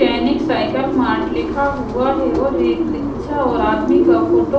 सैनिक cycle mart लिखा हुआ है और रिक रिक्शा और आदमी का फोटो --